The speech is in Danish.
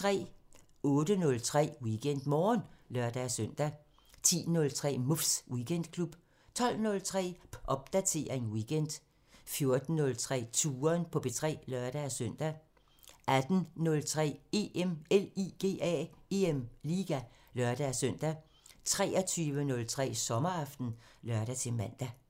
08:03: WeekendMorgen (lør-søn) 10:03: Muffs Weekendklub 12:03: Popdatering weekend 14:03: Touren på P3 (lør-søn) 18:03: EM LIGA (lør-søn) 23:03: Sommeraften (lør-man)